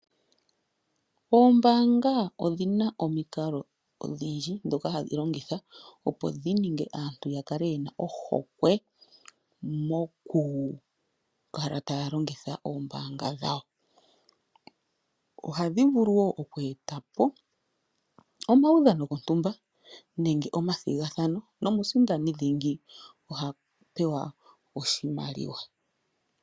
Oombaanga odhi na omikalo odhindji ndhoka hadhi longitha, opo dhi ninge aantu ya kale ye na ohokwe mokukala taya longitha oombaanga dhawo. Ohadhi vulu oku eta po omaudhano gontumba nenge omathigathano nomusindani dhingi oha pewa oshimaliwa.